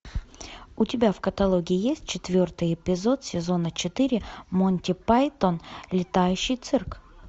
у тебя в каталоге есть четвертый эпизод сезона четыре монти пайтон летающий цирк